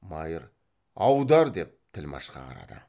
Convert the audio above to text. майыр аудар деп тілмәшқа қарады